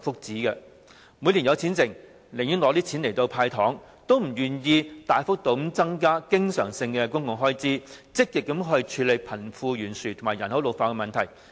政府每年錄得盈餘，但卻寧願用作"派糖"，也不願意大幅度增加經常性公共開支，積極處理貧富懸殊和人口老化的問題。